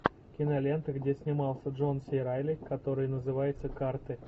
кинолента где снимался джон си райли который называется карты